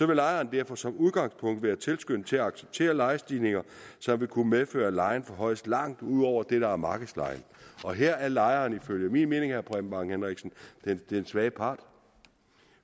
vil lejeren derfor som udgangspunkt være tilskyndet til at acceptere lejestigninger som vil kunne medføre at lejen forhøjes langt ud over det der er markedslejen og her er lejeren ifølge min mening herre preben bang henriksen den svage part